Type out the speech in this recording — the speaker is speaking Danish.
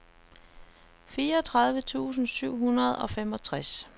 fireogtredive tusind syv hundrede og femogtres